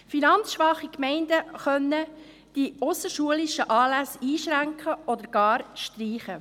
Finanzschwache Gemeinden können die ausserschulischen Anlässe einschränken oder gar streichen.